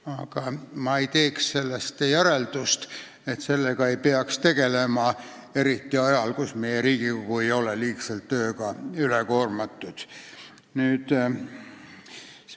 Aga ma ei teeks sellest järeldust, et sellega ei peaks tegelema, eriti ajal, kus meie Riigikogu ei ole liigselt tööga koormatud.